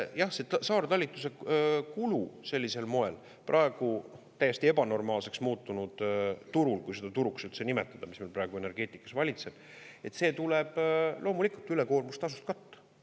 Jah, see saartalituse kulu sellisel moel praegu täiesti ebanormaalseks muutunud turul – kui seda turuks üldse nimetada, mis meil praegu energeetikas valitseb –, see tuleb loomulikult ülekoormustasust katta.